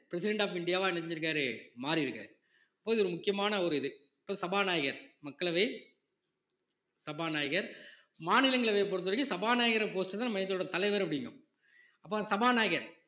president of India வா என்ன செஞ்சிருக்காரு மாறியிருக்காரு அப்போ இது ஒரு முக்கியமான ஒரு இது இப்ப சபாநாயகர் மக்களவை சபாநாயகர் மாநிலங்களவையை பொருத்த வரைக்கும் சபாநாயகர் post தான் தலைவர் அப்படிங்கு~ அப்போ சபாநாயகர்